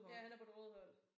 Ja han er på det røde hold